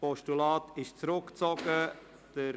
Das Postulat ist zurückgezogen worden.